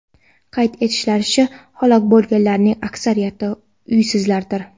Qayd etishlaricha, halok bo‘lganlarning aksariyati uysizlardir.